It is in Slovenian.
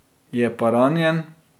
Je pa ranjen.